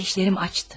Qardaşlərim açdı.